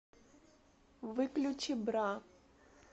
выключи бра